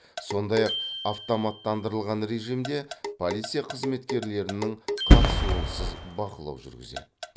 сондай ақ автоматтандырылған режимде полиция қызметкерлерінің қатысуынсыз бақылау жүргізеді